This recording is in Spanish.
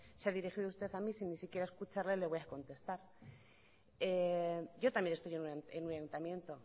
se ha dirigido usted a mí ni siquiera escucharle le voy a contestar yo también estoy en un ayuntamiento